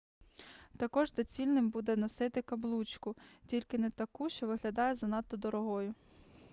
також доцільним буде носити каблучку тільки не таку що виглядає занадто дорогою